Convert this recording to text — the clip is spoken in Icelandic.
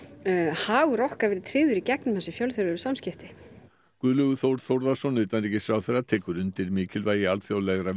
hagur okkar verið tryggður í gegnum þessi fjölþjóðlegu samskipti Guðlaugur Þór Þórðarson utanríkisráðherra tekur undir mikilvægi alþjóðlegra